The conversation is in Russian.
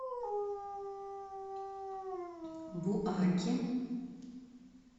буаке